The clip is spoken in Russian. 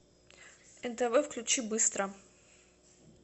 нтв включи быстро